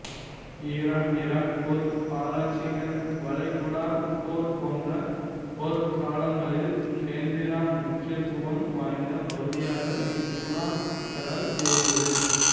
Iran Iraq போர் பாரசீக வளைகுடாப் போர் போன்ற போர்க் காலங்களில் கேந்திர முக்கியத்துவம் வாய்ந்த பகுதியாக இக்குடாக்கடல் இருந்தது